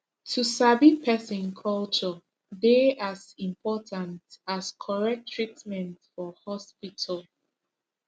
to sabi person culture dey as important as correct treatment for hospital